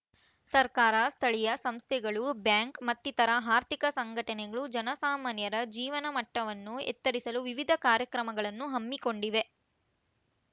ಸರ್ಕಾರ ಸ್ಥಳೀಯ ಸಂಸ್ಥೆಗಳು ಬ್ಯಾಂಕ್‌ ಮತ್ತಿತರ ಆರ್ಥಿಕ ಸಂಘಟನೆಗಳು ಜನಸಾಮಾನ್ಯರ ಜೀವನಮಟ್ಟವನ್ನು ಎತ್ತರಿಸಲು ವಿವಿಧ ಕಾರ್ಯಕ್ರಮಗಳನ್ನು ಹಮ್ಮಿಕೊಂಡಿವೆ